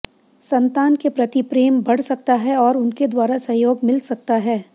संतान के प्रति प्रेम बढ़ सकता है और उनके द्वारा सहयोग मिल सकता है